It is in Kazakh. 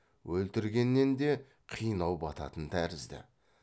өлтіргеннен де қинау бататын тәрізді